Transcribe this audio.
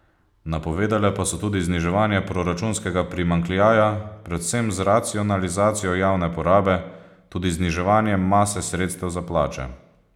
Napovedale pa so tudi zniževanje proračunskega primanjkljaja predvsem z racionalizacijo javne porabe, tudi zniževanjem mase sredstev za plače.